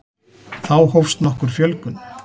þá hófst nokkur fjölgun